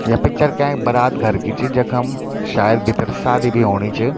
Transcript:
या पिक्चर कै बारात घर की छ जखम शायद भित्तर शादी भी होणी च।